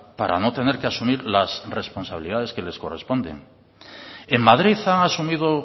para no tener que asumir las responsabilidades que les corresponden en madrid han asumido